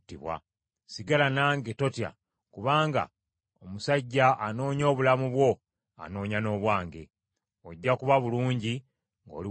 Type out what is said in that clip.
Sigala nange, totya, kubanga omusajja anoonya obulamu bwo anoonya n’obwange. Ojja kuba bulungi ng’oli wamu nange.”